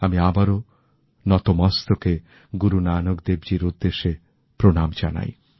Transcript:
আমি আবারও নতমস্তকে গুরু নানক দেবজীর উদ্দেশ্যে প্রণাম জানাই